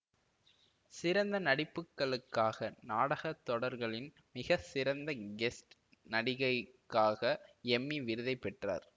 சிறந்த நடிப்புகளுக்காக நாடக தொடர்களின் மிகச்சிறந்த கெஸ்ட் நடிகைக்காக எம்மி விருதை பெற்றார்